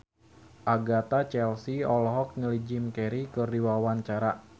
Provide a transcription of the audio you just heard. Agatha Chelsea olohok ningali Jim Carey keur diwawancara